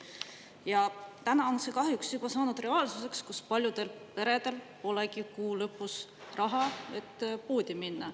Ja täna on see kahjuks saanud reaalsuseks, kus paljudel peredel polegi kuu lõpus raha, et poodi minna.